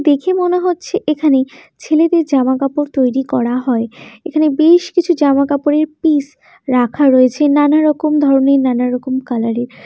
দেখে মনে হচ্ছে এখানে ছেলেদের জামা কাপড় তৈরি করা হয় এখানে বে-শ কিছু জামা কাপড়ের পিস রাখা রয়েছে নানারকম ধরনের নানা রকম কালারের ।